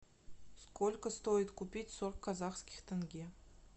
сколько стоит купить сорок казахских тенге